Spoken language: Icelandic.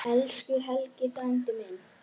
Elsku Helgi frændi minn.